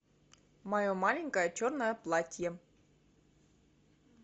мое маленькое черное платье